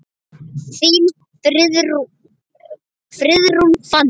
Þín, Friðrún Fanný.